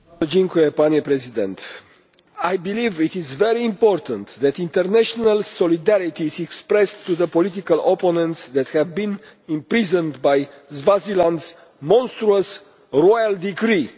Mr President, I believe it is very important that international solidarity is expressed to the political opponents who have been imprisoned by Swaziland's monstrous royal decree.